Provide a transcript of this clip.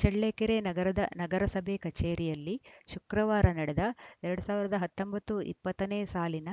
ಚಳ್ಳಕೆರೆ ನಗರದ ನಗರಸಭೆ ಕಚೇರಿಯಲ್ಲಿ ಶುಕ್ರವಾರ ನಡೆದ ಎರಡ್ ಸಾವಿರದ ಹತ್ತೊಂಬತ್ತು ಇಪ್ಪತ್ತ ನೇ ಸಾಲಿನ